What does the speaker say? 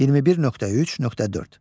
21.3.4.